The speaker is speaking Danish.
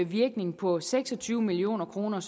virkning på seks og tyve million kroner